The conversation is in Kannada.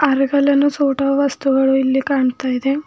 ಫೋಟೋ ವಸ್ತುಗಳು ಇಲ್ಲಿ ಕಾಣ್ತಾ ಇದೆ.